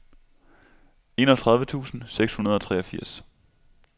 enogtredive tusind seks hundrede og treogfirs